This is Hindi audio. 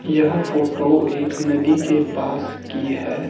यह फोटो एक नदी के पास की है।